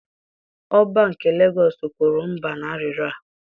Oba nke Legọs kwuru mba na arịrịọ a.